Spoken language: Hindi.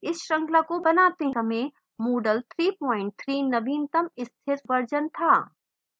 इस श्रृंखला को बनाते समय moodle 33 नवीनतम स्थिर version था